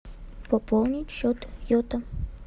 пополнить счет йота